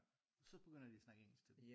Så begynder de at snakke engelsk til dem